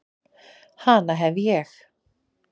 Hana hef ég.